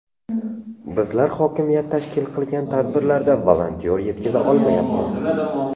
Bizlar hokimiyat tashkil qilgan tadbirlarda volontyor yetkiza olmayapmiz.